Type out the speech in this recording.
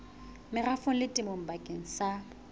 merafong le temong bakeng sa